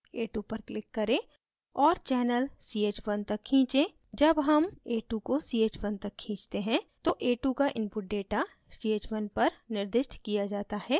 a2 पर click करें और channel ch1 तक खींचें जब हम a2 को ch1 तक खींचते हैं तो a2 का input data ch1 पर निर्दिष्ट किया data है